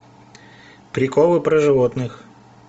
приколы про животных